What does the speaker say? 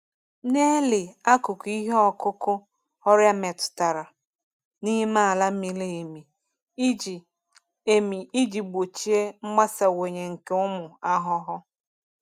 Na-eli akụkụ ihe ọkụkụ ọrịa metụtara n’ime ala miri emi iji emi iji gbochie mgbasawanye nke ụmụ ahụhụ.